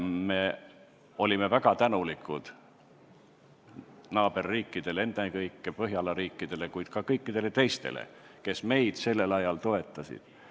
Me olime väga tänulikud naaberriikidele, ennekõike Põhjala riikidele, kuid ka kõikidele teistele, kes meid sel ajal toetasid.